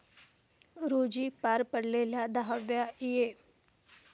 रोजी पार पडलेल्या दहाव्या ए.